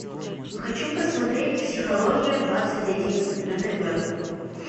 хочу посмотреть психология двадцать один на тв